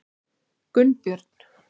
Gunnbjörn